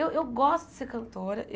Eu eu gosto de ser cantora.